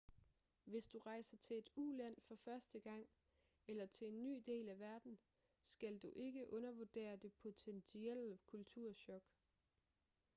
hvis du rejser til et uland for første gang eller til en ny del af verden skal du ikke undervurdere det potentielle kulturchok